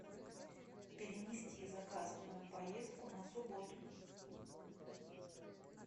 перенести заказанную поездку на субботу